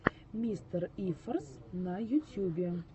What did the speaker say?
мистерифорс на ютьюбе